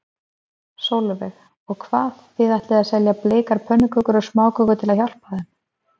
Sólveig: Og hvað, þið ætlið að selja bleikar pönnukökur og smákökur til að hjálpa þeim?